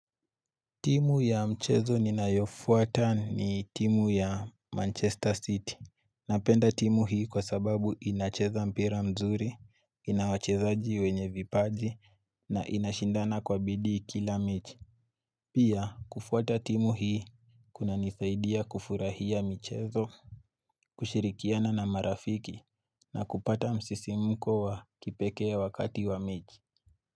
Timu ya mchezo ninayofuata ni timu ya Manchester City. Napenda timu hii kwa sababu inacheza mpira mzuri, inawachezaji wenye vipaji, na inashindana kwa bidii kila mechi Pia kufuata timu hii kunanisaidia kufurahia michezo kushirikiana na marafiki na kupata msisimulko wa kipekee wakati wa mechi.